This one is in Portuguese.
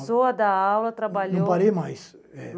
Depois que começou a dar aula, trabalhou... Não parei mais. É